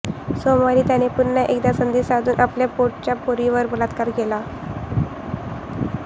सोमवारी त्याने पुन्हा एकदा संधी साधून आपल्या पोटच्या पोरीवर बलात्कार केला